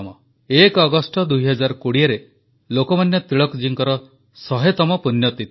1 ଅଗଷ୍ଟ 2020ରେ ଲୋକମାନ୍ୟ ତିଳକ ଜୀଙ୍କ 100 ତମ ପୁଣ୍ୟତିଥି